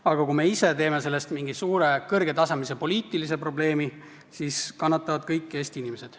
Aga kui me ise teeme sellest mingi kõrgetasemelise poliitilise probleemi, siis kannatavad kõik Eesti inimesed.